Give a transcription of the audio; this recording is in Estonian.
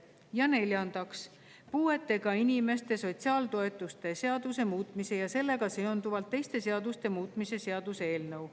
Ja neljandaks, puuetega inimeste sotsiaaltoetuste seaduse muutmise ja sellega seonduvalt teiste seaduste muutmise seaduse eelnõu.